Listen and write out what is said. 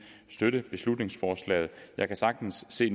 støtte beslutningsforslaget jeg kan sagtens se